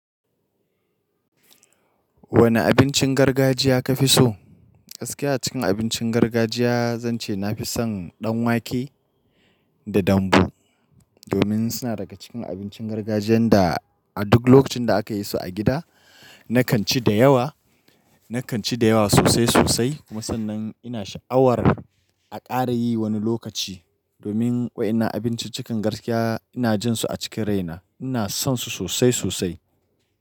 Wane abincin gargajiya ka fi so? Gaskiya cikin abincin gargajiya, zan ce na fi son ɗan wake da dambu. Domin suna daga cikin abincin gargajiyan da a duk lokacin da aka yi su a gida, nakan ci da yawa, nakan ci da yawa sosai sosai. Kuma sannan ina sha'awar a ƙara yi wani lokaci. Domin wa'ina abinci cikin gaskiya ina jin su a cikin raina. Ina son su sosai sosai.